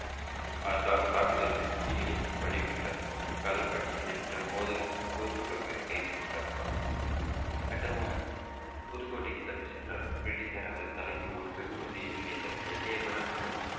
தா~ தா~ தாக்குதல் யுக்திகளை வடிவமைத்தார் கலர் பட்டியலில் இட்டமோதல் யூசப் சிவசுப்ரமணி கைது செய்யப்பட்டார் கட்டபொம்மன் புதுக்கோட்டைக்கு தப்பிசென்றார் பிரிட்டிஷார் அவரது தலைக்கு ஒரு வெகுமதி என நினைத்தேன் எட்டையபுரம் மற்றும்